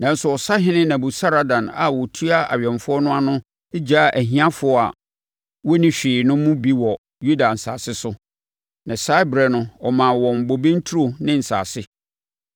Nanso, ɔsahene Nebusaradan a ɔtua awɛmfoɔ no ano no gyaa ahiafoɔ wɔnni hwee no mu bi wɔ Yuda asase so, na saa ɛberɛ no ɔmaa wɔn bobe nturo ne nsase.